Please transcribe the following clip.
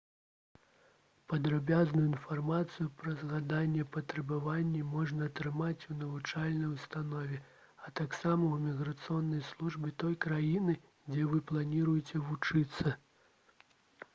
падрабязную інфармацыю пра згаданыя патрабаванні можна атрымаць у навучальнай установе а таксама ў іміграцыйнай службе той краіны дзе вы плануеце вучыцца